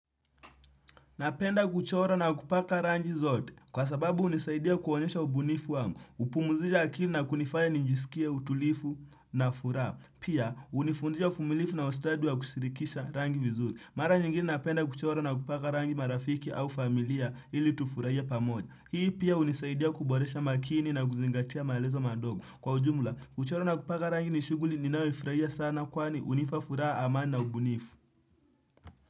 Napenda kuchora na kupaka rangi zote. Kwa sababu unisaidia kuonyesha ubunifu wangu. Upumuzisha akili na kunifaya nijisikie, utulifu na furaha. Pia, unifundisha ufumilifu na ustadi wa kusirikisha rangi vizuri. Mara nyingine napenda kuchora na kupaka rangi marafiki au familia ili tufurahie pa moja. Hii pia unisaidia kuboresha makini na kuzingatia maelezo madogo. Kwa ujumla, kuchora na kupaka rangi nishuguli ninayoifurahia sana kwani unipafuraha amani na ubunifu.